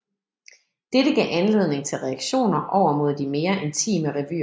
Dette gav anledning til reaktioner over mod de mere intime revyer